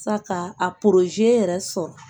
Sa ka a yɛrɛ sɔrɔ